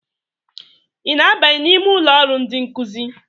ị na-abanye n'ime ụlọ ọrụ ndị nkuzi?